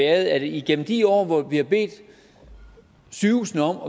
at igennem de år hvor vi har bedt sygehusene om